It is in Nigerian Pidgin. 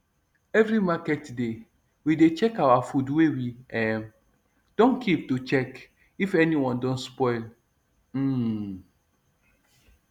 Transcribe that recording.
every market day we dey check our food wey we um dun keep to check if anyone don spoil um